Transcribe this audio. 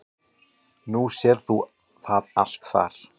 Þú sérð það allt þar.